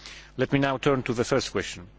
Let me now turn to the first question.